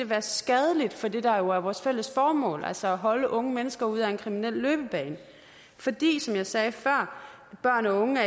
være skadelig for det der jo er vores fælles mål altså at holde unge mennesker ude af en kriminel løbebane fordi som jeg sagde før børn og unge